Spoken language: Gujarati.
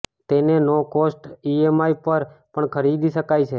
તેને નો કોસ્ટ ઈએમઆઈ પર પણ ખરીદી શકાય છે